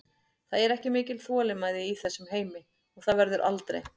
Það er ekki mikil þolinmæði í þessum heimi og það verður aldrei.